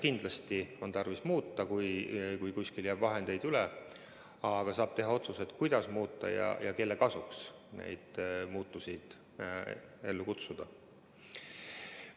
Kindlasti on tarvis midagi muuta, kui kuskil jääb vahendeid üle, aga saab teha otsuse, kuidas midagi muuta ja kelle kasuks need muudatused ellu viia.